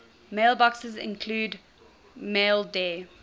mailboxes include maildir